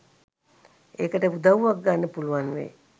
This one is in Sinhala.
ඒකට උදව්වක් ගන්න පුළුවන් වෙයි .